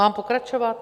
Mám pokračovat?